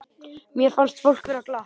Mér fannst fólk vera glatt.